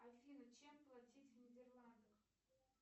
афина чем платить в нидерландах